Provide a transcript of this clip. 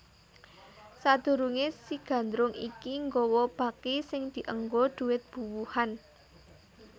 Sadurunge si Gandrung iki nggawa baki sing dienggo dhuwit buwuhan